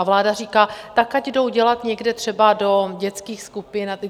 A vláda říká: Tak ať jdou dělat někde třeba do dětských skupin.